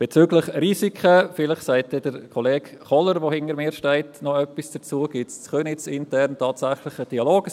Bezüglich Risiken – vielleicht wird Kollege Kohler, der hinter mir steht, noch etwas dazu sagen – gibt es in Köniz tatsächlich einen internen Dialog.